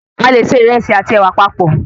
A lè se ìrẹsì àti ẹ̀wà papọ̀